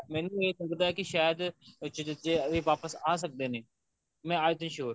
ਮੈਨੂੰ ਇਹ ਲੱਗਦਾ ਸ਼ਾਇਦ ਵਿੱਚ ਵਿੱਚ ਇਹ ਵਾਪਿਸ ਆ ਸਕਦੇ ਨੇ ਮੈਂ ਅੱਜ ਤੇ sure